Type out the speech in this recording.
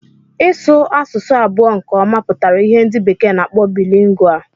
Ịsu asụsụ abụọ nke ọma pụtara ìhè ndị bekee na-akpọ Bilingual.